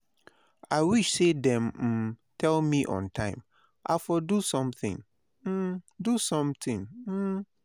I wish say dem um tell me on time, i for do something. um do something. um